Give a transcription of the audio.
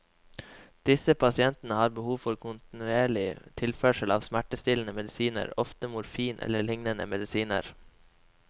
Disse pasientene har behov for kontinuerlig tilførsel av smertestillende medisiner, ofte morfin eller lignende medisiner.